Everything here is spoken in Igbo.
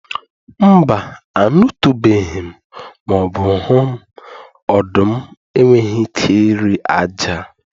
Mba, anụtụbeghị m ma ọ bụ hụ m, ọdụm enweghị ike iri ájá.